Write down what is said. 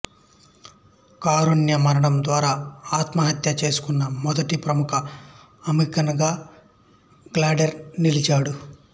కారుణ్య మరణం ద్వారా ఆత్మహత్య చేసుకున్న మొదటి ప్రముఖ అమెరికన్ గా అడ్లెర్ నిలిచాడు